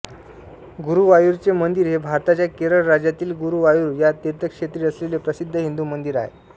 गुरुवायूरचे मंदिर हे भारताच्या केरळ राज्यातील गुरुवायूर या तीर्थक्षेत्री असलेले प्रसिद्ध हिंदू मंदिर आहे